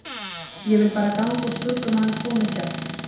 Ég vil bara ganga úr skugga um að hann komi ekki aftur